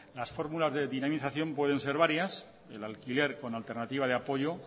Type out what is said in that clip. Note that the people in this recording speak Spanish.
las fórmulas de dinamización pueden ser varias el alquiler con alternativa de apoyo